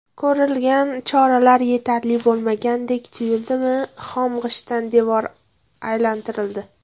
Ko‘rilgan choralar yetarli bo‘lmagandek tuyuldimi, xom g‘ishtdan devor aylantirildi.